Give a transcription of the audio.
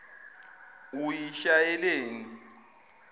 uyishayeleni